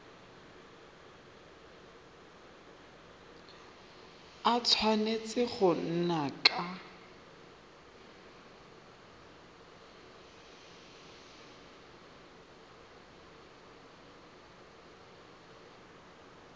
a tshwanetse go nna ka